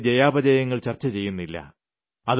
ഞാൻ അതിലെ ജയാപരാജയങ്ങൾ ചർച്ച ചെയ്യുന്നില്ല